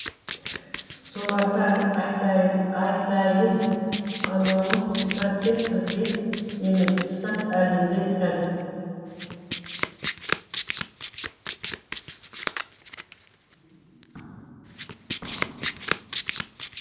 соларға айтайын ономастика тек бізге емес тұтас әлемде тән